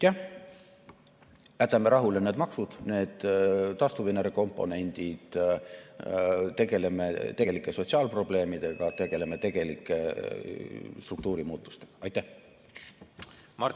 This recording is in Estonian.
Jah, jätame rahule need maksud, need taastuvenergia komponendid, tegeleme tegelike sotsiaalprobleemidega, tegeleme tegelike struktuurimuutustega!